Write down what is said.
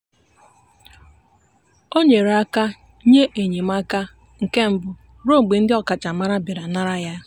o nyere aka nye enyemaka nke mbụ ruo mgbe ndị ọkachamara bịara nara ya.